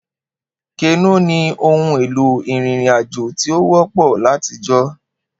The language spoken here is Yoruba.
Kenó ni ohun-èlò ìrìnrìn-àjò tí ó wọ́pọ̀ látijọ́.